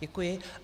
Děkuji.